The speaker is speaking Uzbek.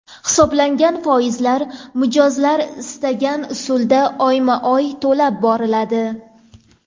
Hisoblangan foizlar mijozlar istagan usulda oyma-oy to‘lab boriladi.